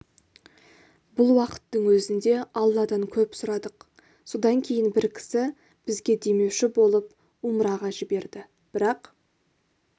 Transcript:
бұл уақыттың өзінде алладан көп сұрадық содан кейін бір кісі бізге демеуші болып умраға жіберді бірақ